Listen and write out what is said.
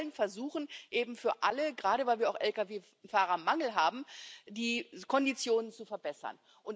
Aber wir wollen versuchen, für alle gerade weil wir auch Lkw Fahrermangel haben die Konditionen zu verbessern.